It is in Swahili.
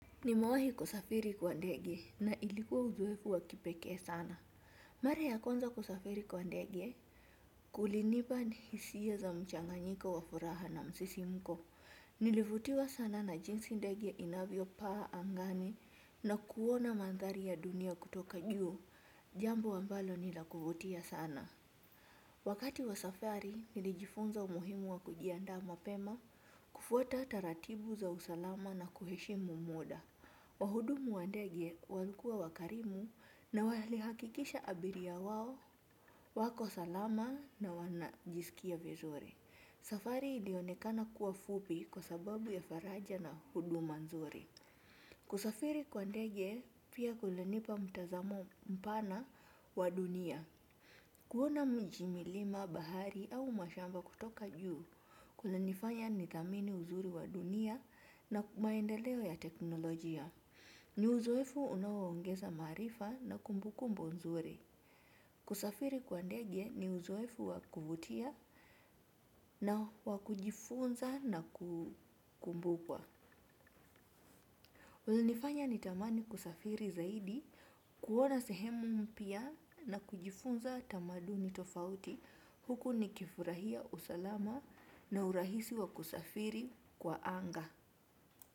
Nimewahi kusafiri kwa ndege na ilikuwa uzoefu wakipekee sana. Mara ya kwanza kusafiri kwa ndege. Kulinipa hisia za mchanganyiko wa furaha na msisimko. Nilivutiwa sana na jinsi ndege inavyo paa angani na kuona mandhari ya dunia kutoka juu. Jambo ambalo ni la kuvutia sana. Wakati wa safari nilijifunza umuhimu wa kujiandaa mapema kufuata taratibu za usalama na kuheshimu muda. Wahudumu wa ndege walikua wakarimu na walihakikisha abiria wao wako salama na wanajisikia vizuri. Safari ilionekana kuwa fupi kwa sababu ya faraja na huduma nzuri. Kusafiri kwa ndege pia kulinipa mtazamo mpana wa dunia. Kuona mji, milima, bahari au mashamba kutoka juu kunanifanya nidhamini uzuri wa dunia na maendeleo ya teknolojia. Ni uzoefu unaoongeza maarifa na kumbukumbu nzuri. Kusafiri kwa ndege ni uzoefu wakuvutia na wakujifunza na kukumbukwa. Unanifanya ni tamani kusafiri zaidi, kuona sehemu mpya na kujifunza tamaduni tofauti. Huku nikifurahia usalama na urahisi wakusafiri kwa anga.